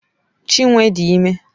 Chinwe dị ime.